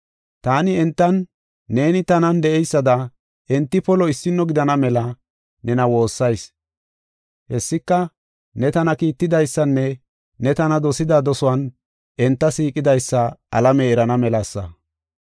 Taani entan, neeni tanan de7eysada enti polo issino gidana mela nena woossayis. Hessika, ne tana kiittidaysanne ne tana dosida dosuwan enta siiqidaysa alamey eran melasa.